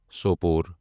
Sopore